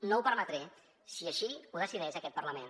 no ho permetré si així ho decideix aquest parlament